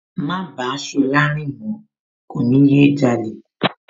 Má bàá Ṣọlá rìn mọ̀ọ́, kò ní yé jalè